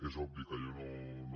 és obvi que jo no